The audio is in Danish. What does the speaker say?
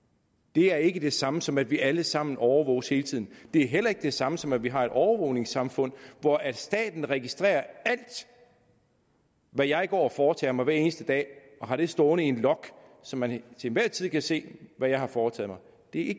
det er ikke det samme som at vi alle sammen overvåges hele tiden det er heller ikke det samme som at vi har et overvågningssamfund hvor staten registrerer alt hvad jeg går og foretager mig hver eneste dag og har det stående i en log så man til enhver tid kan se hvad jeg har foretaget mig det